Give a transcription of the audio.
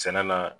Sɛnɛ la